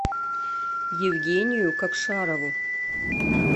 евгению кокшарову